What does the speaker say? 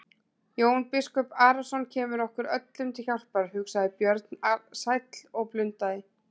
Jón biskup Arason kemur okkur öllum til hjálpar, hugsaði Björn sæll og blundaði.